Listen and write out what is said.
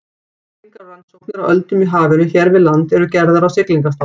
Mælingar og rannsóknir á öldum í hafinu hér við land eru gerðar á Siglingastofnun.